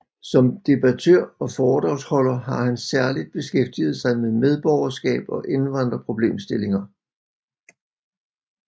Som debattør og foredragsholder har han særligt beskæftiget sig med medborgerskab og indvandrerproblemstillinger